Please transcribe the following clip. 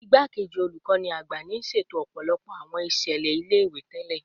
Igbakeji Olukọni Agba ni siseto ọpọlọpọ awọn iṣẹlẹ ile-iwe tẹlẹ